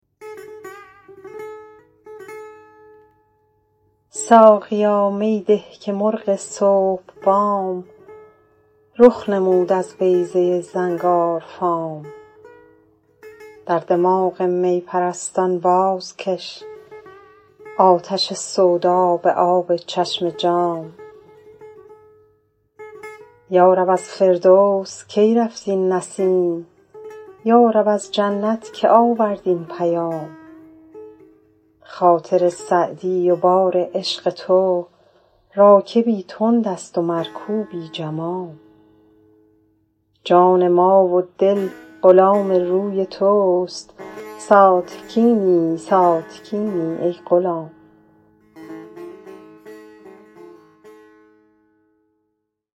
ساقیا می ده که مرغ صبح بام رخ نمود از بیضه زنگارفام در دماغ می پرستان بازکش آتش سودا به آب چشم جام یا رب از فردوس کی رفت این نسیم یا رب از جنت که آورد این پیام خاطر سعدی و بار عشق تو راکبی تند است و مرکوبی جمام جان ما و دل غلام روی توست ساتکینی ساتکینی ای غلام